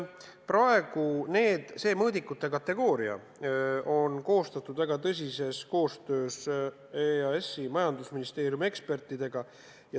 Praegused mõõdikud on koostatud väga tõsises koostöös EAS-i ja Majandusministeeriumi ekspertidega.